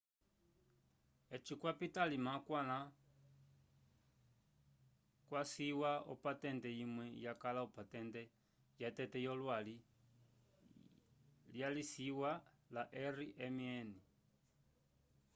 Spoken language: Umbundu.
eci kwapita alima akwãla kwaciwa opatente imwe yakala opatente yatete yolwali lyaciwa la rmn